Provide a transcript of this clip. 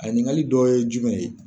A ɲikali dɔ ye jumɛn ye